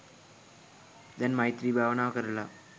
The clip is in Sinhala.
දැන් මෛත්‍රී භාවනාව කරලා